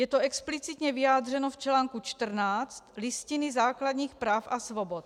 Je to explicitně vyjádřeno v článku 14 Listiny základních práv a svobod.